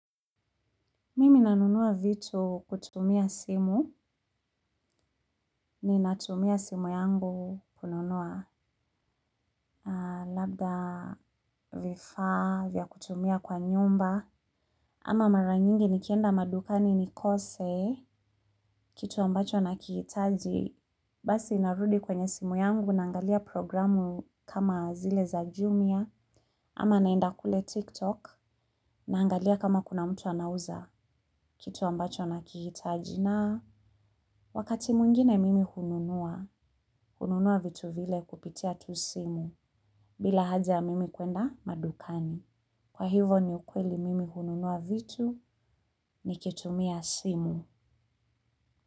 Mimi nanunua vitu kutumia simu, ni natumia simu yangu kununua labda, vifaa, vya kutumia kwa nyumba, ama mara nyingi nikienda madukani nikose, kitu ambacho nakihitaji, basi narudi kwenye simu yangu naangalia programu kama zile za jumia, ama naenda kule tiktok, naangalia kama kuna mtu anauza kitu ambacho nakihitaji. Na wakati mwingine mimi hununua, hununua vitu vile kupitia tu simu bila haja ya mimi kwenda madukani. Kwa hivo ni ukweli mimi hununua vitu ni kitumia simu.